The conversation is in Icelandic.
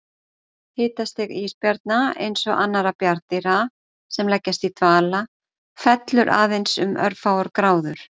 Hitastig ísbjarna, eins og annarra bjarndýra sem leggjast í dvala, fellur aðeins um örfáar gráður.